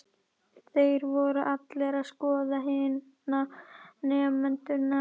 Þeir voru allir að skoða hina nemendurna.